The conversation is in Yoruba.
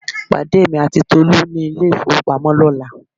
Pàdé èmi àti Tolú ní ilé ìfowópamọ́ lọ́la